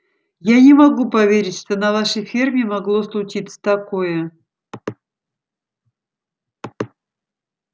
я не могу поверить что на нашей ферме могло случиться такое